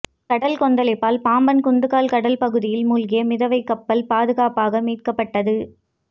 கடல் கொந்தளிப்பால் பாம்பன் குந்துகால் கடல் பகுதியில் மூழ்கிய மிதவைக்கப்பல் பாதுகாப்பாக மீட்கப்பட்டது